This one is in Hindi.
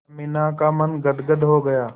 अमीना का मन गदगद हो गया